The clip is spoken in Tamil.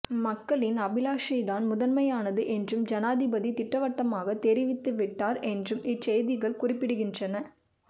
மக்களின் அபிலாஷை தான் முதன்மையானது என்றும் ஜனாதிபதி திட்டவட்டமாக தெரிவித்து விட்டார் என்றும் இச்செய்திகள் குறிப்பிடுகின்றன